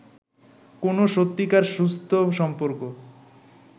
কোনও সত্যিকার সুস্থ সম্পর্ক